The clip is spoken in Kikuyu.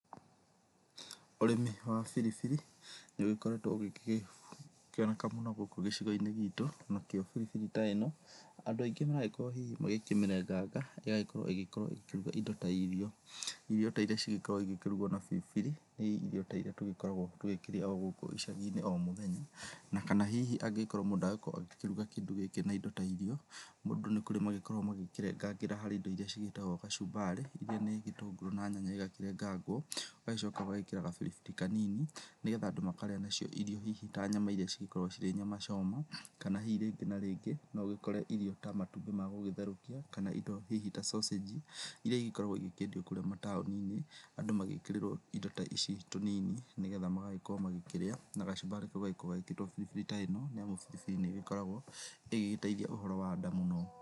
Ũrĩmi wa biribiri nĩũgĩkoretwo ũgĩkĩoneka mũno gũkũ gĩcigo-inĩ gitũ, nakĩo biribiri ta ĩno andũ aingĩ magagĩkorwo hihi makĩmĩrenganga, ĩgagĩkorwo ĩgĩkorwo ĩkĩruga indo ta irio. Irio ta irĩa cigĩkorwo igĩkĩrugwo na biribiri ni ta irĩa tũgĩkoragwo tũgĩkĩrĩa o-gũkũ icagi-inĩ o-mũthenya. Na kana hihi angĩkorwo mũndũ aragĩkorwo akĩrũga kĩndũ gĩkĩ na indo ta irio. Mũndũ nĩkũrĩ magĩkoragwo magĩkĩrengera harĩ indo irĩa ciĩtagwo gacumbari, irĩa nĩ gĩtũngũrũ na nyanya igakĩrengangwo ũgagĩcoka ũgagĩkĩra ga-biribiri kanini nĩgetha andũ makarĩa nacio irio hihi ta nyama irĩa cigĩkoragwo ci nyama choma. Kana hihi rĩngĩ na rĩngĩ no ũgĩkore irio ta matumbĩ ma gũgitherũkio kana indo hihi ta cocĩji, irĩa igĩkoragwo ikĩendio kũrĩa mataũni-inĩ. Andũ magĩkĩrĩrwo indo ici tũnini nĩgetha magagĩkorwo magĩkĩrĩa na gacumbari kau gagĩkorwo gekĩrĩtwo biribiri ta ino, naguo biribiri nĩĩgĩkoragwo ĩgĩgĩteithia ũhoro wa nda mũno.